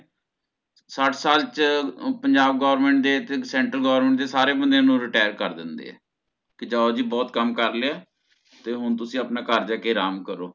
ਸੱਠ ਸਾਲ ਚ ਅਹ ਪੰਜਾਬ Government ਦੇ ਤੇ Central Government ਦੇ ਸਾਰੇ ਬੰਦਿਆਂ ਨੂੰ Retire ਕਰ ਦਿੰਦੇ ਆ ਕੀ ਜਾਓ ਜੀ ਬਹੁਤ ਕੰਮ ਕੇ ਲਿਆ ਤੇ ਹੋਣ ਤੁਸੀਂ ਆਪਣਾ ਘਰ ਜਾ ਕੇ ਆਰਾਮ ਕਰੋ